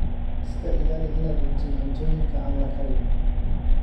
Iska ilaali inaad cuntid cuntooyinka aan la karin.